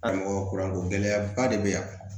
A mɔgɔ kura ko gɛlɛyaba de bɛ yan